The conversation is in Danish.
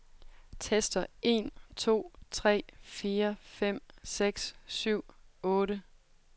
Tester en to tre fire fem seks syv otte.